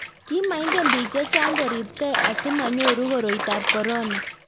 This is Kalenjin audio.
ki maingen biik che chang' kuribgei asimanyoru koroitab korona